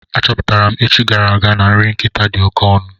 A chọpụtara m echi gara aga na nri nkịta dị oké ọnụ.